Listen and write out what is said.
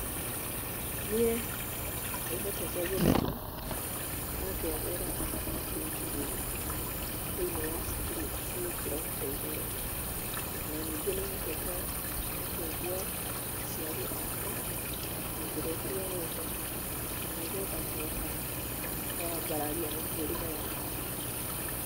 Niĩ nĩ hotete gũthoma na ngegĩra na ndingiri thĩinĩ wa cũkuru cia gĩkĩro kĩa igũrũ, na ningĩ nĩhotete gũteithia aciari akwa na njĩra itiganĩte na nĩgetha kũhota kwambararia mĩtũrĩre yao.